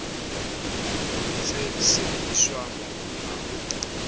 se sebediswa mobung ha ho